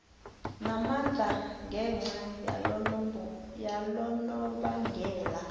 namandla ngenca yalonobangela